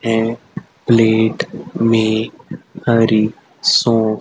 है प्लेट में हरी सो--